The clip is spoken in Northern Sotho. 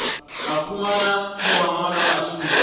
ba humanago mangwalo a thuto